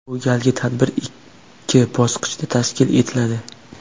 Bu galgi tadbir ikki bosqichda tashkil etiladi.